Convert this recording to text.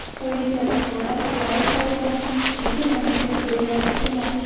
Xitoylik tadbirkorlar suvarak zavodlarini butun mamlakat bo‘ylab qurmoqchi.